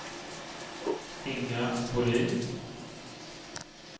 Inga Bolin